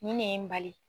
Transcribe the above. Nin ne ye n bali